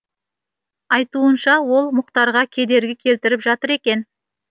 айтуынша ол мұхтарға кедергі келтіріп жатыр екен